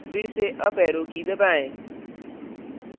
फिर से up arrow की दबाएं